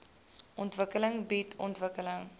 ontwikkeling bied ontwikkeling